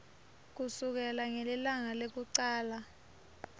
kusukela ngelilanga lekucala